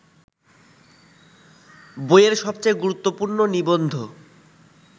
বইয়ের সবচেয়ে গুরুত্বপূর্ণ নিবন্ধ